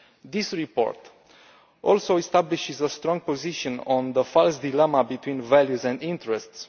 This report also establishes a strong position on the false dilemma between values and interests.